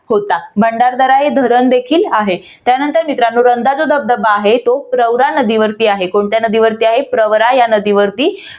होता भंडारदरा हे धरण देखील आहे. त्यानंतर मित्रानो रंधा जो धबधबा जो आहे तो प्रवरा नदीवरती आहे. कोणत्या नदीवरती आहे? प्रवरा या नदीवरती